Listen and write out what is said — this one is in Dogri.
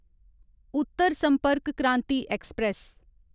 उत्तर संपर्क क्रांति ऐक्सप्रैस